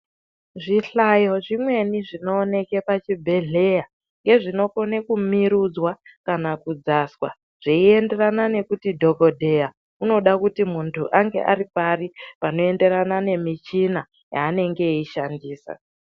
Zvihlayo zvimweni zvinooneke pachibhehleya ngezvinokona kumirudzwa kana kudzaswa zveienderana nekuti dhokodheya unode kuti muntu ange ari pari panoenderana nemichina yaanenge eyishandisa.